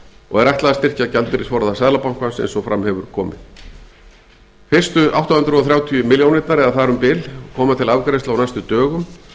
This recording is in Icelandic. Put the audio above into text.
og er ætlað að styrkja gjaldeyrisforða seðlabankans eins og fram hefur komið fyrstu átta hundruð þrjátíu milljónirnar eða þar um bil koma til afgreiðslu á næstu dögum